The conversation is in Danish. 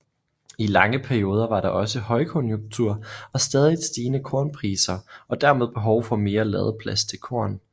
I lange perioder var der også højkonjunktur og stadigt stigende kornpriser og dermed behov for mere ladeplads til korn